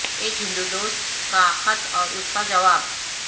ایک ہندو دوست کا خط اور اس کا جواب